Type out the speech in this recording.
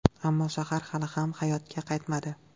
Ammo shahar hali ham hayotga qaytmadi.